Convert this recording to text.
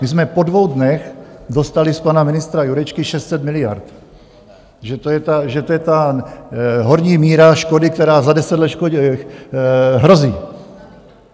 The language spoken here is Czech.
My jsme po dvou dnech dostali z pana ministra Jurečky 600 miliard, že to je ta horní míra škody, která za deset let hrozí.